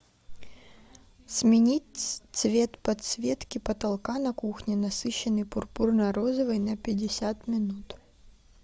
сменить цвет подсветки потолка на кухне насыщенный пурпурно розовый на пятьдесят минут